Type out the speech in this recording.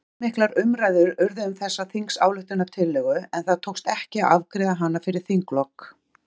Allmiklar umræður urðu um þessa þingsályktunartillögu en það tókst ekki að afgreiða hana fyrir þinglok.